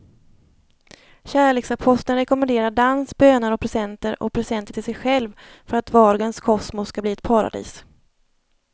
Kärleksaposteln rekommenderar dans, böner och presenter och presenter till sig själv för att vardagens kosmos ska bli ett paradis.